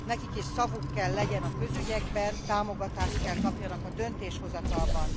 Nekik is szavuk kell legyen a közügyekben, támogatást kell kapjanak a döntéshozatalban.